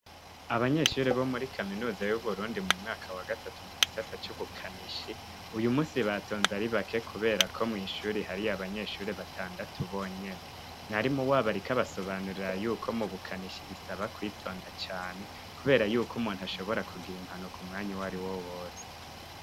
Abanyeshuri bo muri kaminuza y'uburundi mu mwaka wa gatatu mu gisata c'ubukanishi uyu musi batonze ari bake, kubera ko mw'ishuri hariyo abanyeshuri batandatu bonyene mwari mu wabarikabasobanurira yuko mubukanishi bisaba kwitonda cane, kubera yuko umuntu ashobora kugira impanuka mwanya uwo ari wo wose.